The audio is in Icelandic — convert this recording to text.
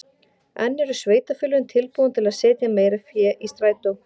En eru sveitarfélögin tilbúin til að setja meira fé í strætó?